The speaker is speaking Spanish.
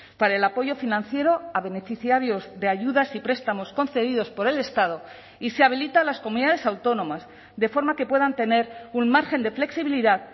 para el apoyo financiero a beneficiarios de ayudas y prestamos concedidos por el estado y se habilita a las comunidades autónomas de forma que puedan tener un margen de flexibilidad